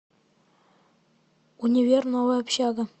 универ новая общага